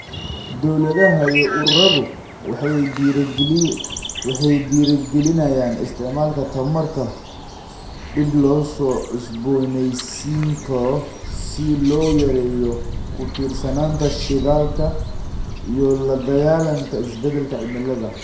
Dawladaha iyo ururadu waxay dhiirigelinayaan isticmaalka tamarta dib loo cusboonaysiin karo si loo yareeyo ku tiirsanaanta shidaalka iyo la dagaalanka isbedelka cimilada.